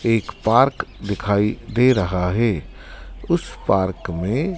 एक पार्क दिखाई दे रहा है उस पार्क में--